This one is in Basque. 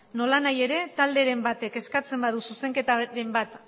nolanahi ere talderen batek eskatzen badu zuzenketaren bat